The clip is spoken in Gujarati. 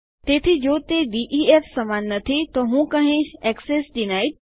તેથી જો તે ડીઇએફ સમાન નથી તો હું કહીશ એક્સેસ ડિનાઇડ